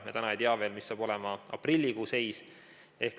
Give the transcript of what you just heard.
Me täna ei tea veel, mis saab olema aprillikuu seis.